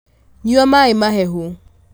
nyua maĩ mahehu